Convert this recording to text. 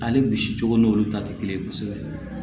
Ale bisi cogo n'olu ta te kelen ye kosɛbɛ